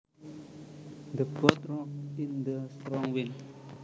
The boat rocked in the strong wind